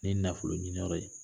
Ni nafolo ɲininyɔrɔ ye